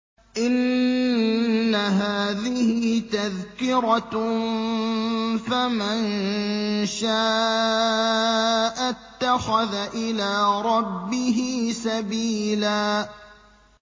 إِنَّ هَٰذِهِ تَذْكِرَةٌ ۖ فَمَن شَاءَ اتَّخَذَ إِلَىٰ رَبِّهِ سَبِيلًا